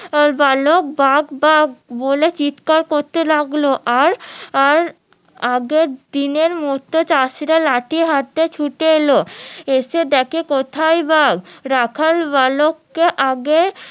বালক বাঘ বাঘ বলে চিৎকার করতে লাগলো আর আর আগের দিন এর মতো চাষিরা লাঠি হাতে ছুটে এলো এসে দেখে কোথায় বাঘ রাখাল বালককে আগের